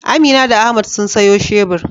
Amina da Ahmad sun sayo shebur.